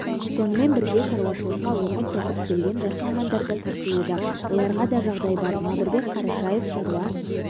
сонымен бірге шаруашылыққа оқып-тоқып келген жас мамандар да тартылуда оларға да жағдай бар мамырбек қарашев шаруа